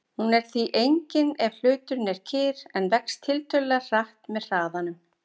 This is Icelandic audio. Hún er því engin ef hluturinn er kyrr en vex tiltölulega hratt með hraðanum.